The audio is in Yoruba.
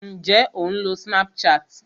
Ǹjé o ń lo Snapchat?